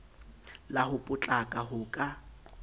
la ho potlaka ho ka